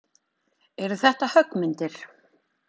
Eru þetta höggmyndir?